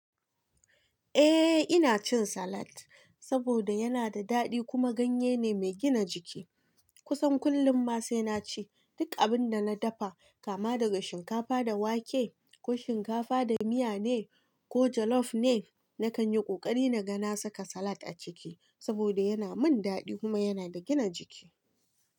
Eh ina cin salad saboda yana da daɗi kuma ganye ne mai gina jiki. Eh ina cin salad saboda yana da daɗi kuma ganye ne mai gina jiki. Duk abin da na dafa, kama daga shinkafa da wake ko shinkafa da miya ne ko jallof ne na kan yi kokari na ga nasa salad a ciki saboda yana na mun dadi kuma ya na da gina jiki.